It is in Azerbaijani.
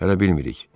Hələ bilmirik.